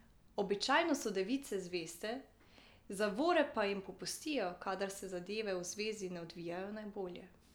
Običajno so device zveste, zavore pa jim popustijo, kadar se zadeve v zvezi ne odvijajo najbolje.